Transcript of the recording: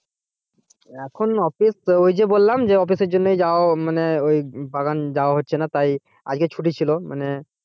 এখনো office ওই যে বললাম office এর জন্য যাওয়া মানে ওই বাগান যাওয়া হচ্ছে না তাই আজকে ছুটি ছিল মানে,